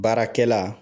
Baarakɛla